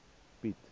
piet